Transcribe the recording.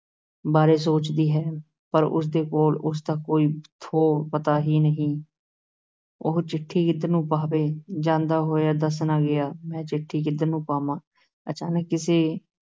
ਬਾਰੇ ਸੋਚਦੀ ਹੈ, ਪਰ ਉਸਦੇ ਕੋਲ ਉਸ ਦਾ ਕੋਈ ਥੋਹ ਪਤਾ ਹੀ ਨਹੀਂ ਉਹ ਚਿੱਠੀ ਕਿਧਰ ਨੂੰ ਪਾਵੇ, ਜਾਂਦਾ ਹੋਇਆ ਦੱਸ ਨਾ ਗਿਆ, ਮੈਂ ਚਿੱਠੀ ਕਿੱਧਰ ਨੂੰ ਪਾਵਾਂ, ਅਚਾਨਕ ਕਿਸੇ